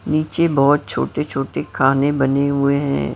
नीचे बहुत छोटे-छोटे खाने बने हुए हैं।